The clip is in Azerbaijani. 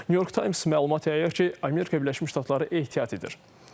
New York Times məlumat yayıb ki, Amerika Birləşmiş Ştatları ehtiyat edir.